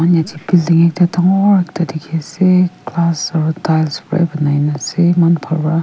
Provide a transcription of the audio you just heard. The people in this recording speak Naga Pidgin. ekta dangor ekta dekhi asa glass or ekta tiles pura banai ase iman bhal pora.